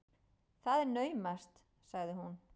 Það er naumast, sagði hún.